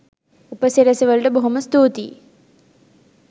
උපසිරැසි වලට බොහොම ස්තූතියි